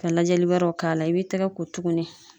Ka lajɛli wɛrɛw k'a la ,i b'i tɛgɛ ko tuguni.